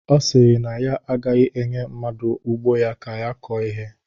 Ọ sịrị na ya agaghị enye mmadụ ugbo ya ka ya kọọ ihe